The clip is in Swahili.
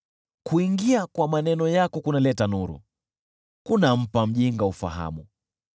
Kuingia kwa maneno yako kunaleta nuru, kunampa mjinga ufahamu.